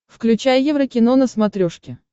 включай еврокино на смотрешке